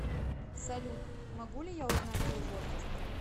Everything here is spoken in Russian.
салют могу ли я узнать твой возраст